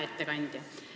Hea ettekandja!